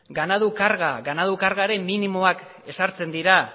ganadu kargaren minimoak ezartzen dira